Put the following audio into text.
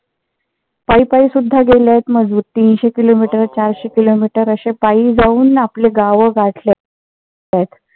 पायी पायी सुद्धा गेलेत मजूर तीनशे किलोमीटर चारशे किलोमीटर असे पायी जावून आपले गावं गाठ्लेत.